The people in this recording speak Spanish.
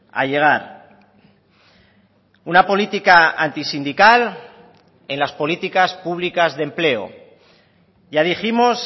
a llegar una política antisindical en las políticas públicas de empleo ya dijimos